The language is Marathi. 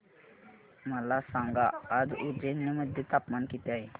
मला सांगा आज उज्जैन मध्ये तापमान किती आहे